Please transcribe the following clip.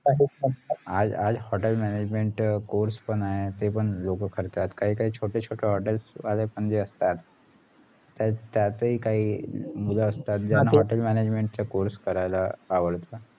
आज आज आज hotel management course पण आहे ते पण लोक करतात काही काही छोटे छोटे hotels वाले पण जे असतात त्यातही काही मूल असतात ज्यांना hotel manajement करायला आवडते